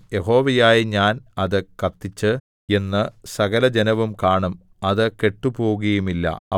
യഹോവയായ ഞാൻ അത് കത്തിച്ചു എന്ന് സകലജനവും കാണും അത് കെട്ടുപോകുകയുമില്ല